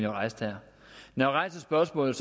rejste her når jeg rejser spørgsmålet